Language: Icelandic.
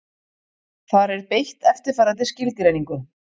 Þar er beitt eftirfarandi skilgreiningu: